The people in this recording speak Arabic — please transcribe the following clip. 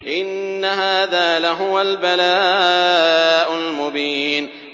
إِنَّ هَٰذَا لَهُوَ الْبَلَاءُ الْمُبِينُ